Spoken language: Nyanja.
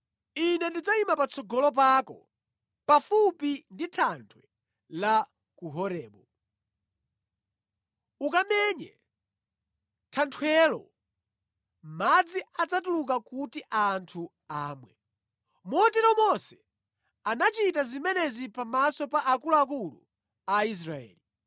Ine ndidzayima patsogolo pako pafupi ndi thanthwe la ku Horebu. Ukamenye thanthwelo, madzi adzatuluka kuti anthu amwe.” Motero Mose anachita zimenezi pamaso pa akuluakulu a Israeli.